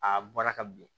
A bɔra ka bin